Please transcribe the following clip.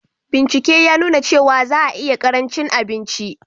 Bincike ya nuna cewa za a iya ƙarancin abinci